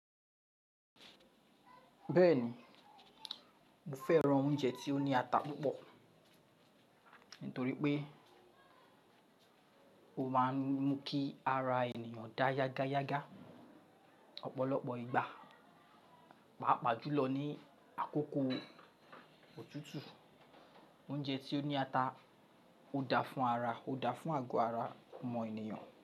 Bẹ́ẹ̀ni, mo fẹ́ran oúnjẹ tí ó ní ata púpọ̀ nítorí pé ó máa ń mú kí ara ènìyàn dà yágáyágá. Ọ̀pọ̀lọpọ̀ ìgbà, pàápàá jùlọ ní àkókò òtútù, oúnjẹ tí ó ní ata ó dáa fún ara, ó dáa fún àgọ́ ara ọmọ ènìyàn.